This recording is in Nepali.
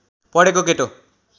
पढेको केटो